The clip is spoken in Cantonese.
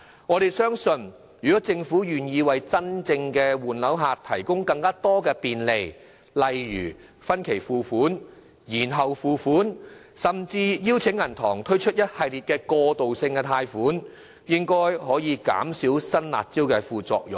我們相信政府若願意為真正的換樓買家提供更多便利，例如分期付款、延後付款，甚至邀請銀行推出一系列過渡性貸款，應可減少新"辣招"的副作用。